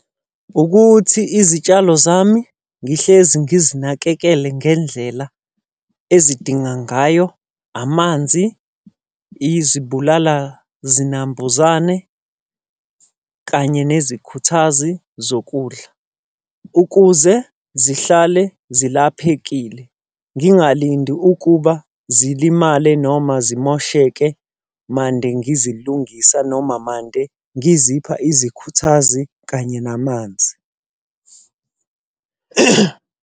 Ukuthi izitshalo zami ngihlezi ngizinakekele ngendlela ezidinga ngayo amanzi, izibulala zinambuzane kanye nezikhuthazi zokudla, ukuze zihlale zilaphekile. Ngingalindi ukuba zilimale noma zimosheke mande ngizilungisa noma mande ngizipha izikhuthazi kanye namanzi.